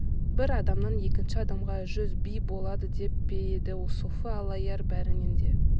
бір адамнан екінші адамға жүз би болады деп пе еді софы аллаяр бәрінен де